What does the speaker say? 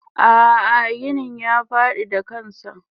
Ah ah ginin ya fadi da kansa.